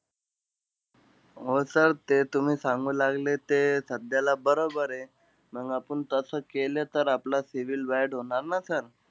हो sir ते तुम्ही सांगू लागले ते, सध्याला बरोबरे. मंग आपुन तसं केलं, तर आपला CIBIL bad होणार न sir?